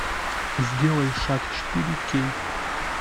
сделай шаг четыре кей